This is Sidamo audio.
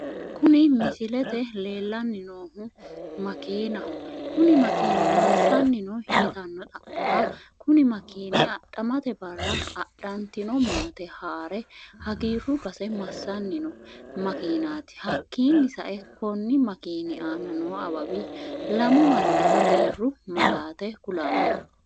Kuni misilete leellani noohu Makiinaho kuni makiini massani no yitano xa'morra kuni makiini adhammete Barra adhatino maate haarre hagirru base masani noo makinati hakiini sa'e koni makiini aana noo awawi lamu Mani hagiiru malaate kulano.